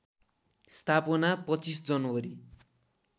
स्थापना २५ जनवरी